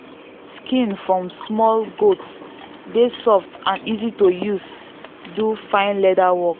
skin from small goat dey soft and easy to use do fine leather work.